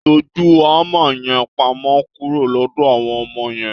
Tọ́jú hámà yẹn pamọ́ kúrò lọ́dọ̀ àwọn ọmọ yẹn.